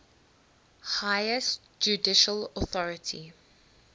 highest judicial authority